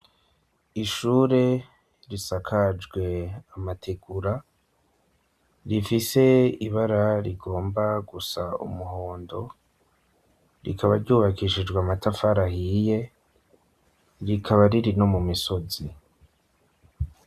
ishure risakajwe amategura rifise ibara rigomba gusa umuhondo rikaba ryubakishijwe amatafara ahiye rikaba ririno mu misozi